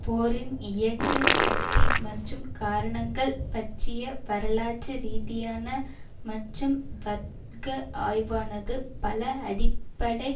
போரின் இயக்கு சக்தி மற்றும் காரணங்கள் பற்றிய வரலாற்று ரீதியான மற்றும் வர்க்க ஆய்வானது பல அடிப்படை